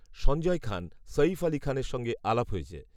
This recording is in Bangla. সঞ্জয় খান, সঈফ আলি খানের সঙ্গে আলাপ হয়েছে